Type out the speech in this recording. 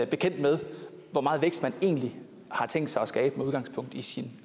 bekendt med hvor meget vækst man egentlig har tænkt sig at skabe med udgangspunkt i sin